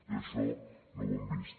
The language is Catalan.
i això no ho hem vist